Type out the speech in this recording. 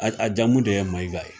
a jamu de ye Mayiga ye